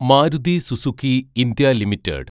Maruti Suzuki India limited